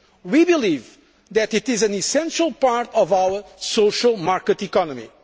is dead. We believe that it is an essential part of our social market